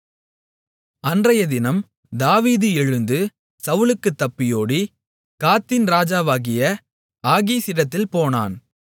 அன்றையதினம் தாவீது எழுந்து சவுலுக்குத் தப்பியோடி காத்தின் ராஜாவாகிய ஆகீசிடத்தில் போனான்